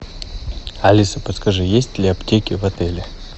алиса подскажи есть ли аптеки в отеле